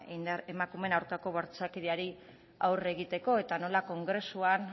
emakumearen aurkako bortxakeriari aurre egiteko eta nola kongresuan